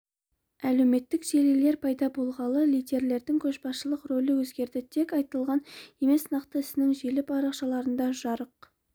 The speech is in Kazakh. әлеуметтік желілер пайда болғалы лидерлердің көшбасшылық рөлі өзгерді тек айтылған емес нақты ісің желі парақшаларында жарық